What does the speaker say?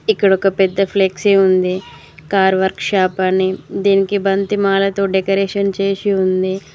ఇక్కడ ఒక పెద్ద ఫ్లెక్సీ ఉంది కార్ వర్క్ షాప్ అని దీనికి బంతి మాలతో డెకరేషన్ చేసి ఉంది.